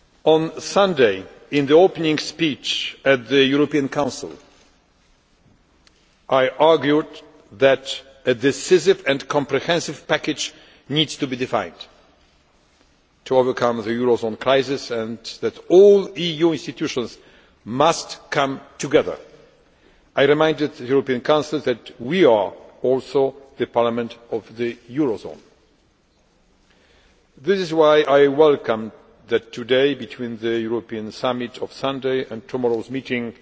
On Sunday, in the opening speech at the European Council, I argued that a decisive and comprehensive package needs to be defined to overcome the euro zone crisis, and that all EU institutions must come together. I reminded the European Council that we are also the Parliament of the euro zone. This is why I welcome that today, between the European Summit on Sunday and tomorrow's meeting,